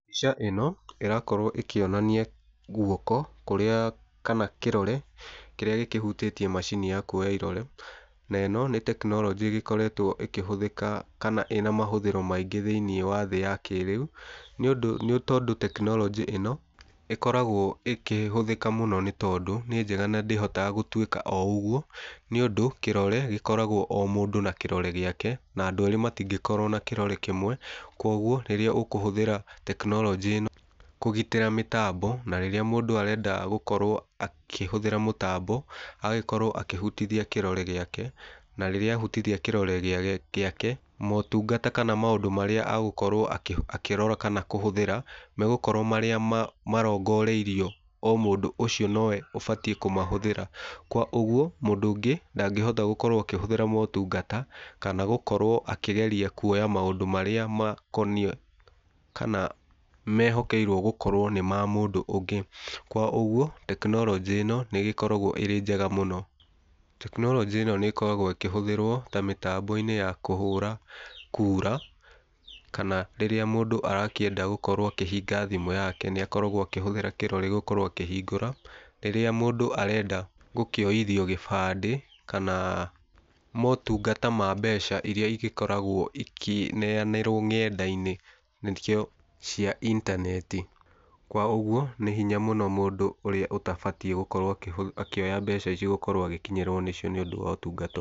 Mbica ĩno ĩrakowo ĩkĩonania guoko kũrĩa kana kĩrore kĩrĩa gĩkĩhutĩtie macini ya kuoya irore. Na ĩno nĩ tekinoronjĩ ĩgĩkoretwo ĩkĩhũthĩka kana ĩna mahũthĩro maingĩ thĩiniĩ wa thĩ ya kĩrĩu, nĩũndũ nĩtondũ tekinoronjĩ ĩno ĩkoragwo ĩkĩhũthĩka mũno nĩtondũ nĩ njega na ndĩhotaga gũtuĩka o ũguo, nĩũndũ kĩrore gĩkoragwo o mũndũ na kĩrore gĩake na andũ erĩ matingĩkorwo na kĩrore kĩmwe. Kuoguo rĩrĩa ũkũhũthĩra tekinoronjĩ ĩno kũgitĩra mĩtambo, na rĩrĩa mũndũ arenda gũkorwo akĩhũthĩra mũtambo agagĩkorwo akĩhutithia kĩrore gĩake, na rĩrĩa ahutithia kĩrore gĩake, motungata kana maũndũ marĩa agũkorwo akĩrora kana kũhũthĩra megũkorwo marĩa marongoreirio o mũndũ ũcio nowe ũbatiĩ kũmahũthĩra. Kwa ũguo, mũndũ ũngĩ ndangĩhota gũkorwo akĩhũthĩra motungata, kana gũkorwo akĩgeria kuoya maũdũ marĩa makoniĩ kana mehokeirwo gũkorwo nĩ ma mũndũ ũngĩ. Kwa ũguo, tekinoronjĩ ĩno nĩĩgĩkoragwo ĩrĩ njega mũno. Tekinoronjĩ ĩno nĩĩgĩkoragwo ĩkĩhũthĩrwo ta mĩtambo-inĩ ya kũhũra kura, kana rĩrĩa mũndũ arakĩenda gũkorwo akĩhinga thimũ yake nĩakoragwo akĩhũthĩra kĩrore gũkorwo akĩhingũra. Rĩrĩa mũndũ arenda gũkĩoithio gĩbandĩ kana motungata ma mbeca iria igĩkoragwo ikĩneanĩrwo ng'enda-inĩ nĩkĩo cia intaneti. Kwa ũguo nĩ hinya mũno mũndũ ũrĩa ũtabatiĩ gũkorwo akĩhũthĩ gũkorwo akĩoya mbeca ici gũkorwo agĩkinyĩrwo nĩcio nĩũndũ wa ũtungata.